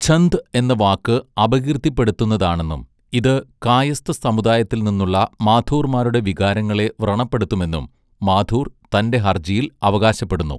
ഝന്ദ് എന്ന വാക്ക് അപകീർത്തിപ്പെടുത്തുന്നതാണെന്നും ഇത് കായസ്ഥ സമുദായത്തിൽനിന്നുള്ള മാഥൂർമാരുടെ വികാരങ്ങളെ വ്രണപ്പെടുത്തുമെന്നും മാഥൂർ തൻ്റെ ഹർജിയിൽ അവകാശപ്പെടുന്നു.